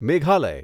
Meghalaya